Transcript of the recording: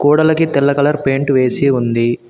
గోడలకి తెల్ల colour paint వేసి ఉంది.